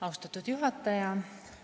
Austatud juhataja!